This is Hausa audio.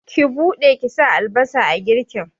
Ki buɗe ki sa albasa a girkin!